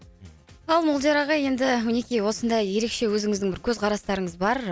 ал молдияр ағай енді мінекей осындай ерекше өзіңіздің бір көзқарастарыңыз бар